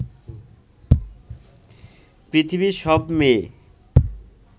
পৃথিবীর সব মেয়ে